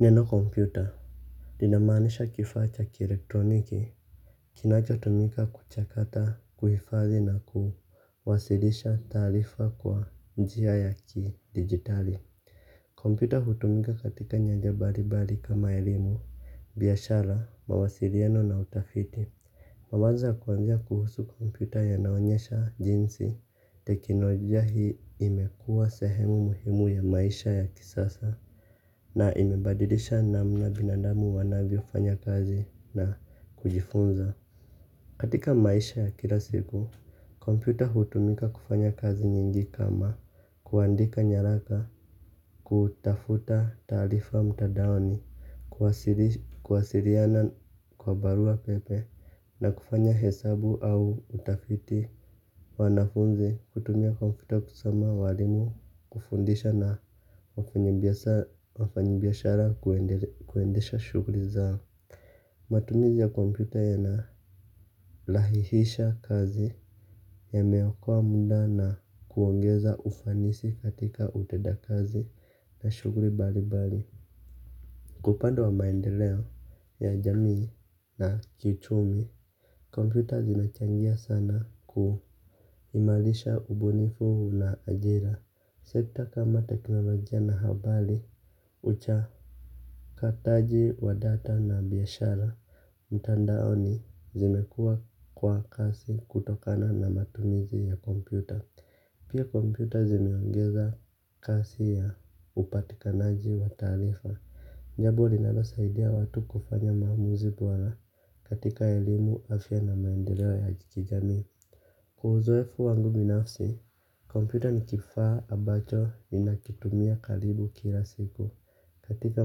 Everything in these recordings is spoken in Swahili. Neno kompyuta linamanisha kifa cha kirektroniki kinachotumika kuchakata kuhifadhi na kuwasilisha tarifa kwa njia ya ki digitali. Kompyuta hutumika katika nyanja bari bari kama elimu biashara mawasilieno na utafiti. Mabaza kuanzia kuhusu kompyuta yanaonyesha jinsi tekinojia hii imekua sehemu muhimu ya maisha ya kisasa na imebadilisha namna binadamu wanavyo fanya kazi na kujifunza. Katika maisha kila siku, komputer hutumika kufanya kazi nyingi kama kuandika nyaraka kutafuta tarifa mtadaoni, kuwasiriana kwa barua pepe na kufanya hesabu au utafiti. Wanafunzi kutumia komputa kusoma walimu kufundisha na wafanyibiashara kuendesha shugri zao. Matumizi ya komputa yanalahihisha kazi yamewakoa muda na kuongeza ufanisi katika utenda kazi na shugri balibali. Kwa upande wa maendeleo ya jamii na kiuchumi komputa zinachangia sana kuhimalisha ubunifu na ajira. Sekta kama taknolojia na habali ucha kataji wa data na biyashara mtandaoni zimekua kwa kasi kutokana na matumizi ya komputa. Pia komputa zimeongeza kasi ya upatikanaji wa tarifa jambo linalo saidia watu kufanya maamuzi bora katika elimu afya na maendelewo ya kijami. Kwa uzoefu wangu binafsi, komputa nikifaa abacho ninakitumia kalibu kila siku katika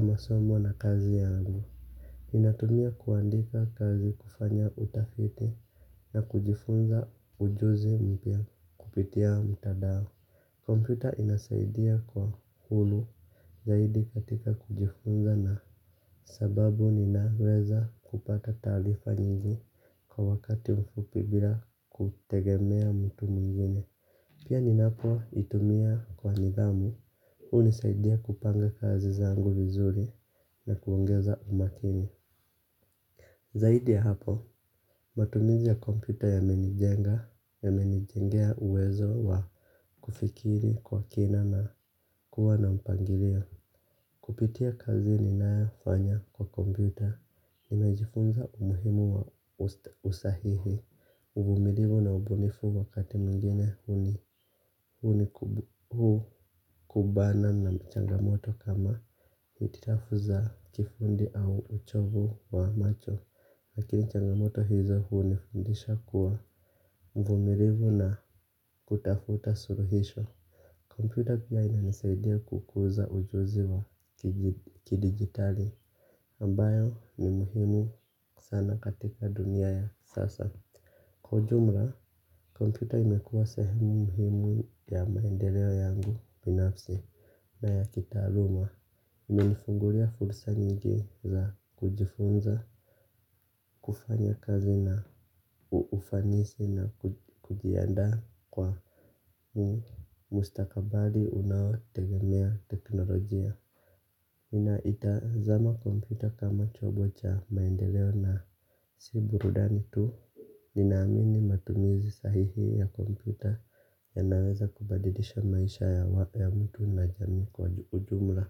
masomo na kazi yangu. Ninatumia kuandika kazi kufanya utafiti kujifunza ujuzi mpya kupitia mtandao. Komputa inasaidia kwa hulu zaidi katika kujifunza na sababu ninaweza kupata talifa nyingi kwa wakati mfupibira kutegemea mtu mungine. Pia ninapo itumia kwa nidhamu hunisaidia kupanga kazi zangu vizuri na kuongeza umakini. Zaidi ya hapo, matumizi ya komputa ya menijenga ya menijengea uwezo wa kufikiri kwa kina na kuwa na mpangirio. Kupitia kazi ni nafanya kwa kompita, nimejifunza umuhimu wa usahihi. Uvumilivu na ubunifu wakati mungine huni kubana na changamoto kama hititafuza kifundi au uchovu wa macho. Lakini changamoto hizo hunifundisha kuwa mvumirivu na kutafuta suruhisho. Kompyuta pia inanisaidia kukuza ujuzi wa kidigitali ambayo ni muhimu sana katika dunia ya sasa kwa ujumla kompyuta imekuwa sehemu muhimu ya maendeleo yangu binafsi na ya kitaaluma imenifungulia fursa nyingi za kujifunza, kufanya kazi na ufanisi na kujiandaw kwa ni mustakabali unaotegemea teknolojia ninaitazama kompyuta kama chombo cha maendeleo na si burudani tu. Ninaamini matumizi sahihi ya kompyuta yanaweza kubadilisha maisha ya mtu na jamii kwa ujumla.